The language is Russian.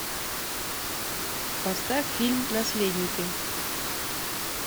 поставь фильм наследники